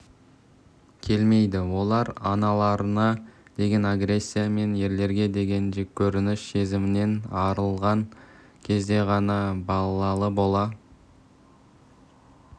келмейді олар аналарына деген агрессия мен ерлерге деген жеккөрініш сезімінен арылған кезде ғана балалы бола